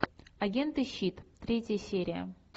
агенты щит третья серия